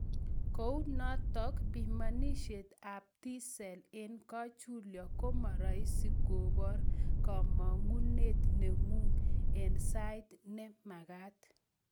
Kounotok pimanisiek ab 'T-cells' eng kachulyo koma rahisi kobor kamang'unet neng'ung' eng sait ne maget.